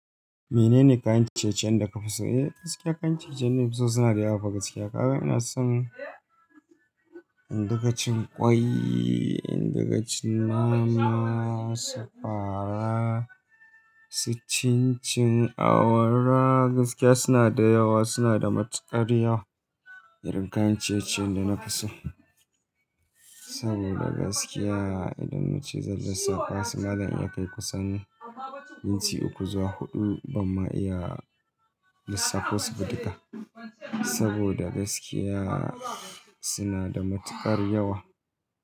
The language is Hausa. Menene kayan ciye-ciyen da ka fi so? Eh gaskiya kayan ciye-ciyen da na fi so suna da yawa fa gaskiya. Kaga ina son, indinga cin ƙwai, indinga cin nama, sakwara, cincin awara. Gaskiya suna da yawa, suna da matuƙar yawa irin kayan ciye-ciyen da na fi so. Saboda gaskiya idan na ce zai lissafa su, malam in ya kai kusan minti uku zuwa huɗu ban ma iya lissafo su ba duka. Saboda gaskiya suna da matuƙar yawa.